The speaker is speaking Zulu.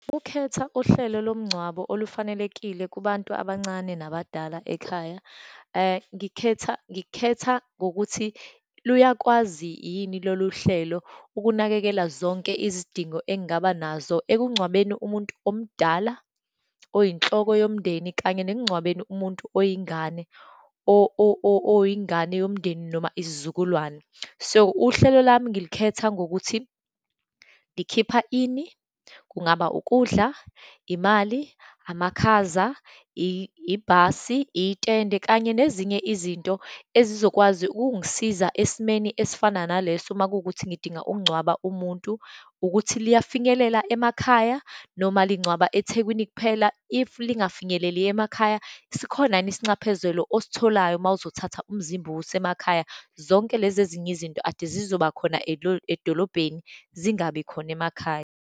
Ukhetha uhlelo lomngcwabo olufanelekile kubantu abancane nabadala ekhaya. Ngikhetha, ngikhetha ngokuthi luyakwazi yini loluhlelo ukunakekela zonke izidingo engaba nazo ekungcwabeni umuntu omdala, oyinhloko yomndeni, kanye nekungcwabeni umuntu oyingane, oyingane yomndeni, noma isizukulwane. So, uhlelo lami ngilikhetha ngokuthi likhipha ini, kungaba ukudla, imali, amakhaza, ibhasi, itende kanye nezinye izinto ezizokwazi ukungisiza esimeni esifana naleso, uma kuwukuthi ngidinga ukungcwaba umuntu, ukuthi liyafinyelela emakhaya, noma lingcwaba eThekwini kuphela. If lingafinyeleli emakhaya, sikhona yini isinxephezelo ositholayo uma uzothatha umzimba uwuse emakhaya. Zonke lezi ezinye izinto ade zizoba khona edolobheni, zingabi khona emakhaya.